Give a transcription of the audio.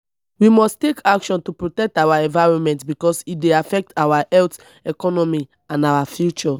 we must take action to protect our environment because e dey affect our health economy and our future.